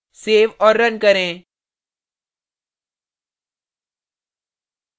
save और run करें